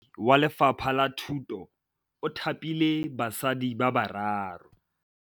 Mothapi wa Lefapha la Thutô o thapile basadi ba ba raro.